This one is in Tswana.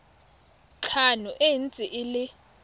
tlhano e ntse e le